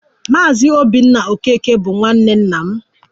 Maazị Obinna Okeke bụ nwanne nna m